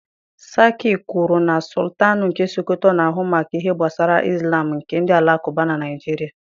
Sarki kwuru na Sọltanụ nke Sokoto na-ahụ maka ihe gbasara ịzlam nke ndị Alakụba na Naịjirịa